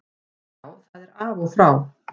Já, það er af og frá.